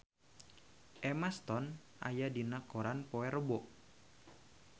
Emma Stone aya dina koran poe Rebo